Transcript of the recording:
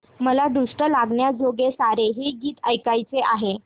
मला दृष्ट लागण्याजोगे सारे हे गीत ऐकायचे आहे